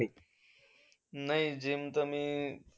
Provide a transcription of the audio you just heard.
नाही, GYM तर मी,